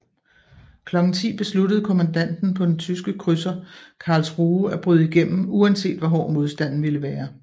Klokken ti besluttede kommandanten på den tyske krydseren Karlsruhe at bryde igennem uanset hvor hård modstanden ville være